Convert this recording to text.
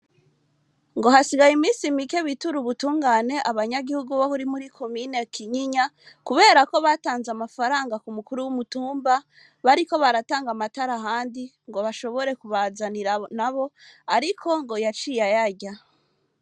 Ngo hasigaye iminsi mike biture ubutungane abanyagihugu bo muri komine Kinyinya kubera ko batanze amafaranga ku mukuru w,umutumba bariko baratanga amatara ahandi ngo bashobore kubazanira nabo ariko ngo yaciye ayarya.